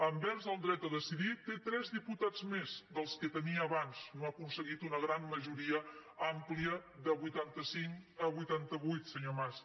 envers el dret a decidir té tres diputats més dels que tenia abans no ha aconseguit una gran majoria àmplia de vuitanta cinc a vuitantavuit senyor mas